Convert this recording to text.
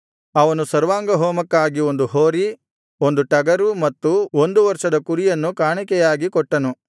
ಅವನು ಸರ್ವಾಂಗಹೋಮಕ್ಕಾಗಿ ಒಂದು ಹೋರಿ ಒಂದು ಟಗರು ಮತ್ತು ಒಂದು ವರ್ಷದ ಕುರಿಯನ್ನು ಕಾಣಿಕೆಯಾಗಿ ಕೊಟ್ಟನು